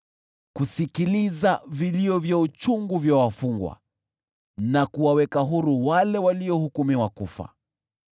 kusikiliza vilio vya uchungu vya wafungwa na kuwaweka huru wale waliohukumiwa kufa.”